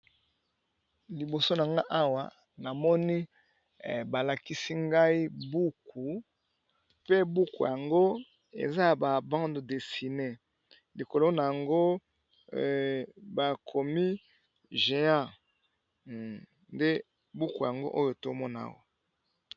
Liboso nangai Awa namoni balakisi ngai buku, pe buku yango eza ya ba bandé dessinée likolo nayango bakomi géant nde buku yangoyo.